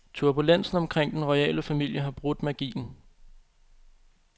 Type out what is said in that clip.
Turbulensen omkring den royale familie har brudt magien.